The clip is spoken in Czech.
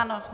Ano.